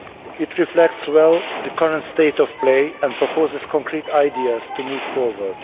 It reflects well the current state of play and proposes concrete ideas to move forward.